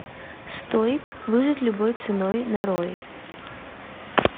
стоик выжить любой ценой нарой